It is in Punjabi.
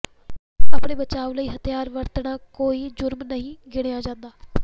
ਆਪਣੇ ਬਚਾਓ ਲਈ ਹਥਿਆਰ ਵਰਤਣਾ ਕੋਈ ਜ਼ੁਰਮ ਨਹੀਂ ਗਿਣਿਆਂ ਜਾਂਦਾ